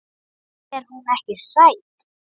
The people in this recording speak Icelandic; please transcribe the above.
Finnst þér hún ekki sæt?